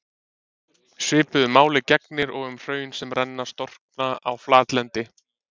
Svipuðu máli gegnir og um hraun sem renna og storkna á flatlendi.